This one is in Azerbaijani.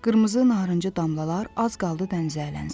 Qırmızı narıncı damlalar az qaldı dənizə ələnsin.